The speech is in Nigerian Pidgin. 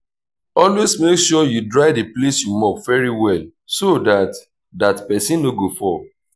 always make sure you dry the place you mop very well so dat dat person no go fall